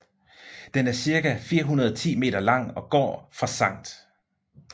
Den er cirka 410 meter lang og går fra Sct